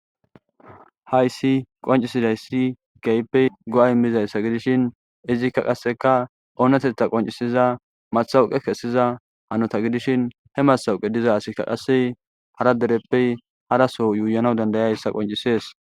Hayssi qoncisidayssi keehippe go7ay imizayssa gidishin izikka qasseka oonetetha qoncisiza mathawuqe kessiza hanota gidishin he masawuqe diza asikka qasse hara dereppey haraso yuuyana dandayayssa qoncisees.